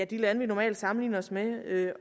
de lande vi normalt sammenligner os med